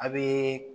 A bɛ